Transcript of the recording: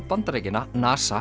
Bandaríkjanna NASA